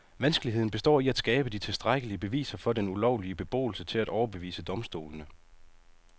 Vanskeligheden består i at skabe de tilstrækkelige beviser for den ulovlige beboelse til at overbevise domstolene.